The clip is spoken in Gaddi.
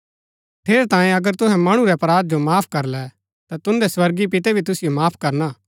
ठेरैतांये अगर तुहै मणु रै अपराध जो माफ करलै ता तुन्दै स्वर्गीय पितै भी तुसिओ माफ करणा